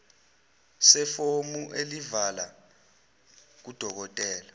sefomu elivela kudokodela